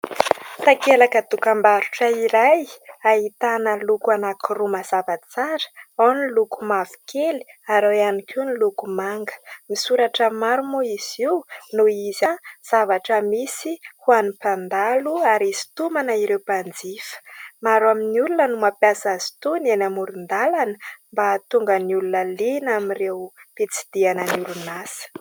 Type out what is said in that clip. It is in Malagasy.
Takelaka dokam-barotra iray ahitana loko anankiroa mazava tsara ao ny loko mavokely ary ao ihany koa ny loko manga. Misoratra maro moa izy io noho izy zavatra misy ho an'ny mpandalo ary hisintomana ireo mpanjifa. Maro amin'ny olona no mampiasa azy itony eny amoron-dalana mba hahatonga ny olona liana amin'ny ireo fitsidihana ny orinasa.